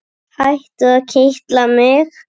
Hættu að kitla mig.